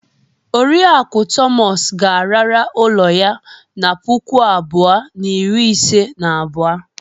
Oriakụ Thomas ga-arara ụlọ ya na puku abuo na iri ise na abuo.